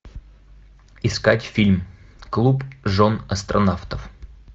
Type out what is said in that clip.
искать фильм клуб жен астронавтов